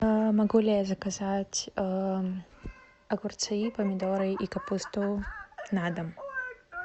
могу ли я заказать огурцы помидоры и капусту на дом